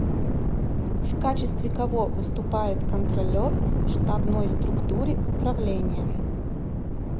в качестве кого выступает контроллер в штабной структуре управления